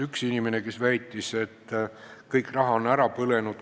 Üks inimene väitis, et kõik raha on ära põlenud.